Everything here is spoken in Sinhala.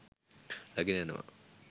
රැගෙන යනවා.